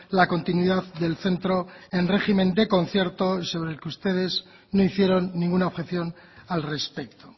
la continuidad del centro en régimen de concierto y del que ustedes no hicieron ninguna objeción al respecto